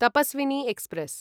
Tapaswini express